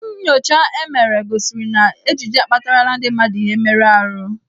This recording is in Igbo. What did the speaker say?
Nnyocha e mere gosiri na ejiji akpatarala ndị mmadụ ihe mmerụ ahụ.